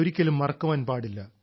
അത് ഒരിക്കലും മറക്കാൻ പാടില്ല